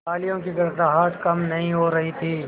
तालियों की गड़गड़ाहट कम नहीं हो रही थी